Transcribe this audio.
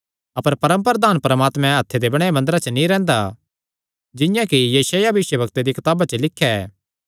अपर परम प्रधान परमात्मा हत्थे दे बणायो मंदरा च नीं रैंह्दा जिंआं कि यशायाह भविष्यवक्ता दिया कताबा च लिख्या ऐ